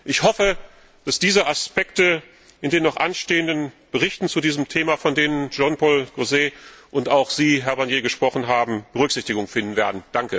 Ich hoffe, dass diese Aspekte in den noch anstehenden Berichten zu diesem Thema, von denen Jean Paul Gauzès und auch Sie, Herr Barnier, gesprochen haben, Berücksichtigung finden werden.